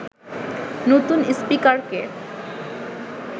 নতুন স্পিকারকে